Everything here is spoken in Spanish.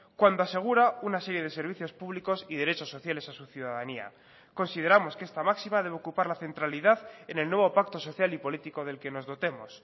cuando asegura una serie de servicios públicos y derechos sociales a su ciudadanía consideramos que esta máxima debe ocupar la centralidad en el nuevo pacto social y político del que nos dotemos